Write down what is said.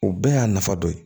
O bɛɛ y'a nafa dɔ ye